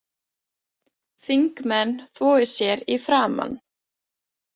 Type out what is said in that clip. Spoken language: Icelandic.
Þingmenn þvoi sér í framan